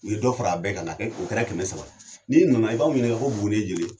U ye dɔ fara a bɛɛ kan kana kɛ o kɛra kɛmɛ saba. N'i nana, i b'anw ɲininga ko Buguni ye joli ye?